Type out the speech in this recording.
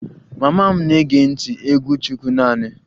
Mama m na-ege ntị egwu chukwu naanị